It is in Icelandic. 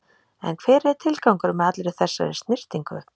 En hver er tilgangurinn með allri þessari snyrtingu?